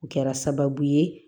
O kɛra sababu ye